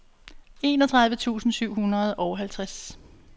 enogtredive tusind syv hundrede og halvtreds